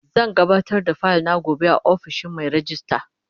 Zan gabatar da fayil na gobe a ofishin Mai rejista.